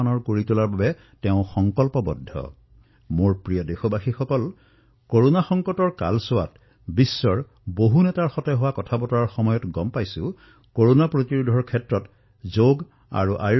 মোৰ মৰমৰ দেশবাসীসকল কৰোনা সংকটৰ এই দৌৰত মই বিশ্বৰ অনেক নেতাৰ সৈতে বাৰ্তালাপ কৰিছো কিন্তু এটা গোপন কথা মই আজি প্ৰকাশ কৰিবলৈ ওলাইছো বিশ্বৰ অনেক নেতাৰ সৈতে যেতিয়া মই বাৰ্তালাপ কৰো তেতিয়া মই দেখা পাও যে এই কেইদিনত তেওঁলোকে যোগ আৰু আয়ুৰ্বেদৰ প্ৰতি বিশেষ আগ্ৰহ প্ৰদৰ্শিত কৰিছে